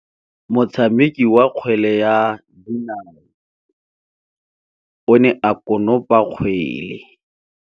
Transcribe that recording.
Motshameki wa kgwele ya dinaô o ne a konopa kgwele.